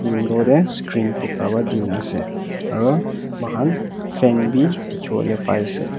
window teh screen puka ba tena ase aro moikan fan beh tekiboli pai ase.